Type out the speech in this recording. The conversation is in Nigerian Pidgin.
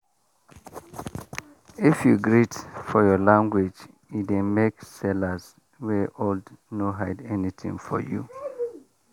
you no need buy before you greet you greet respect na free thing.